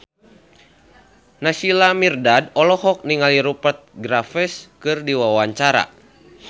Naysila Mirdad olohok ningali Rupert Graves keur diwawancara